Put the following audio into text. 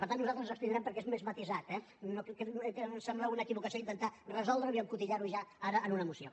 per tant nosaltres ens hi abstindrem perquè és més matisat eh que sembla una equivocació intentar resoldre ho i encotillar ho ja ara en una moció